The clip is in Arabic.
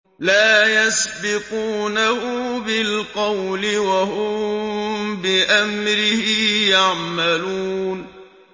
لَا يَسْبِقُونَهُ بِالْقَوْلِ وَهُم بِأَمْرِهِ يَعْمَلُونَ